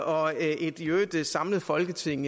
og et i øvrigt samlet folketing